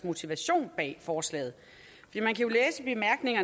motivation bag forslaget